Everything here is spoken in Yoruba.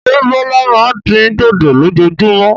Ṣé Bọ́lá máa ń dín dòdò lójoojúmọ́?